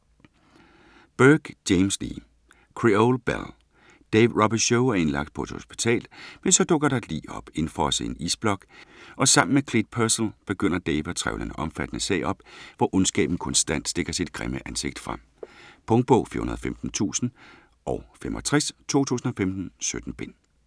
Burke, James Lee: Creole belle Dave Robicheaux er indlagt på et hospital. Men så dukker der et lig op, indfrosset i en isblok, og sammen med Clete Purcel begynder Dave at trevle en omfattende sag op, hvor ondskaben konstant stikker sit grimme ansigt frem. Punktbog 415065 2015. 17 bind.